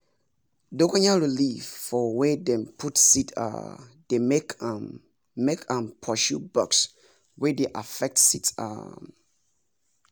dongoyaro leaf for wer dem put seed um dey make m make m pursue bugs wey dey affect seeds um